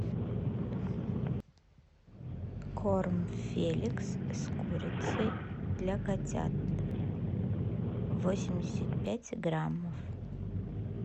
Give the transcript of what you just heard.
корм феликс с курицей для котят восемьдесят пять граммов